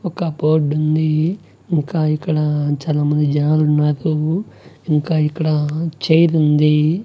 ఒక బోర్డు ఉంది ఇంకా ఇక్కడ చానా మంది జనాలున్నారు ఇంకా ఇక్కడ చైర్ ఉంది.